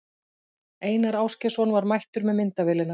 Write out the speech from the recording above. Einar Ásgeirsson var mættur með myndavélina.